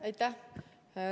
Aitäh!